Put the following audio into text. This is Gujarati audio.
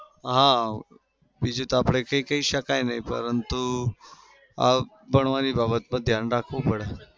હા બીજું તો આપડે કંઈ કેય શકાય નહિ પરતું અમ ભણવાની બાબત પર ધ્યાન રાખવું પડે.